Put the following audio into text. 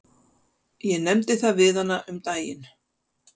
Ég nefndi það við hana um daginn.